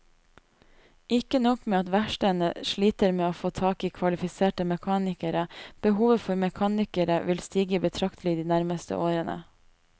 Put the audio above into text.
Ikke nok med at verkstedene sliter med å få tak i kvalifiserte mekanikere, behovet for mekanikere vil stige betraktelig i de nærmeste årene.